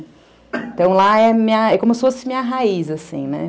Então lá é como se fosse minha raiz, assim, né?